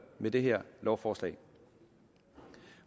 med det her lovforslag